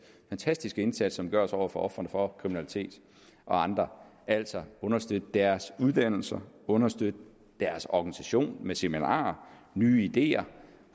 fantastiske indsats som gøres over for ofrene for kriminalitet og andre altså understøtte deres uddannelse understøtte deres organisation med seminarer nye ideer